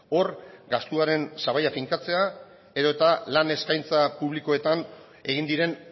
hor gastuaren sabaia finkatzea edo eta lan eskaintza publikoetan egin diren